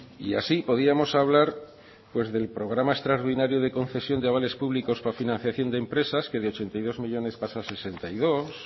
y así podríamos hablar pues del programa extraordinario de concesión de avales públicos para financiación de empresas que de ochenta y dos millónes pasa a sesenta y dos